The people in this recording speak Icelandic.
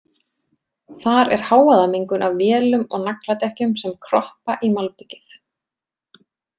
Þar er hávaðamengun af vélum og nagladekkjum sem kroppa í malbikið.